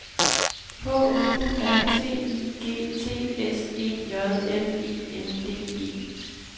H U R T I G T S E J L E N D E